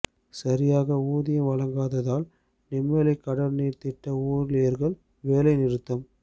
சரியாக ஊதியம் வழங்காததால் நெம்மேலி கடல் நீர் திட்ட ஊழியர்கள் வேலை நிறுத்தம்